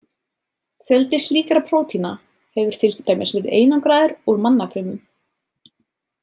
Fjöldi slíkra prótína hefur til dæmis verið einangraður úr mannafrumum.